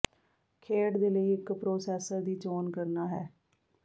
ਖੇਡ ਦੇ ਲਈ ਇੱਕ ਪਰੋਸੈੱਸਰ ਦੀ ਚੋਣ ਕਰਨਾ ਹੈ